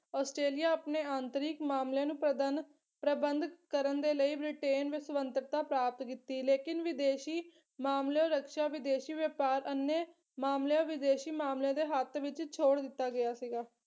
Australia ਆਪਣੇ ਆਂਤਰਿਕ ਮਾਮਲਿਆਂ ਨੂੰ ਪ੍ਰਦਨ ਪ੍ਰਬੰਧ ਕਰਨ ਦੇ ਲਈ ਬ੍ਰਿਟੇਨ ਵਿਸਵੰਤਕਤਾ ਪ੍ਰਾਪਤ ਕੀਤੀ ਲੇਕਿਨ ਵਿਦੇਸ਼ੀ ਮਾਮਲੇ ਔਰ ਰਕਸ਼ਾ ਵਿਦੇਸ਼ੀ ਵਪਾਰ ਅਨੇ ਮਾਮਲਿਆਂ ਵਿਦੇਸ਼ੀ ਮਾਮਲਿਆਂ ਦੇ ਹੱਥ ਵਿੱਚ ਛੋੜ ਦਿੱਤਾ ਗਿਆ ਸੀਗਾ।